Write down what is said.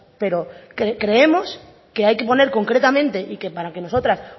pero creemos que hay que poner concretamente y que para que nosotras